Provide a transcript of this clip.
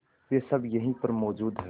वे सब यहीं पर मौजूद है